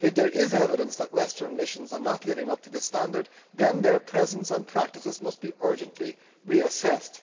If there is evidence that Western missions are not living up to this standard, then their presence and practices must be urgently reassessed.